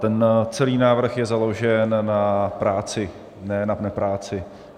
Ten celý návrh je založen na práci, ne na nepráci.